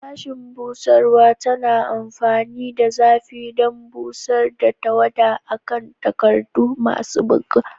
Sashen busarwa tana amfani da zafi don busar da tawada a kan takardu masu buga.